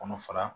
Kɔnɔ fara